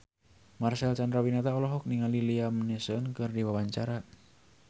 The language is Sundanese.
Marcel Chandrawinata olohok ningali Liam Neeson keur diwawancara